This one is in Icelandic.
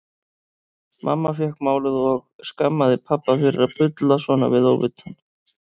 Mamma fékk málið og skammaði pabba fyrir að bulla svona við óvitann.